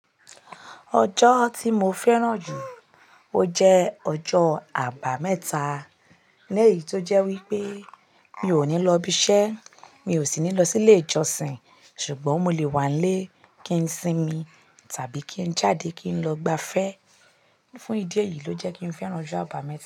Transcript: Ọjọ́ tí mo fẹ́ràn jù, ó jẹ́ ọjọ́ àbámẹ́ta. Lẹ́yìn tó jẹ́ wípé mi ò ní lọ ibiṣẹ́, mi ò sì ní lọ sí ilé ìjọsìn, ṣùgbọ́n mo lè wà nílé kí n sinmi tàbí kí n jáde kí n lọ gbafẹ́. Fún ìdí èyí ló jẹ́ kí n fẹ́ràn ọjọ́ àbámẹ́ta.